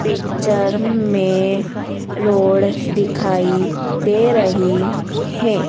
Picture में road दिखाई दे रही है।